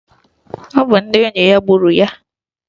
Ọ bụ ndị enyi ya gburu ya.